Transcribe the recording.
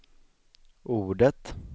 ordet